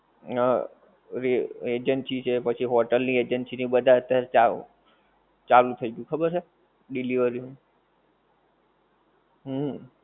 હં. ઓલી agency છે પછી હોટેલ ની agency ને બધા હતા ચાવ ચાલુ થઈ ગ્યું ખબર છે? delivery નું. હુંમ.